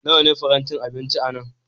Nawa ne farantin abinci a nan?